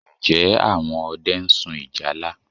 Ǹjẹ́ àwọn ọdẹ ń sun ìjálá?